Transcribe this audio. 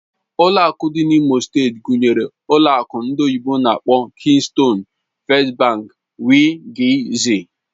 Ụlọ akụ dị na imo steeti gụnyere ụlọ akụ ndị oyibo n'akpọ "Keystone bank", "First Bank" wgz